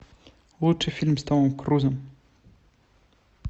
лучший фильм с томом крузом